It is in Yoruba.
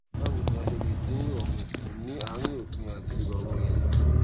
báwo ni a ṣe lè dín ìròrùn kù ní àárín òpin àti ìròrùn ẹyin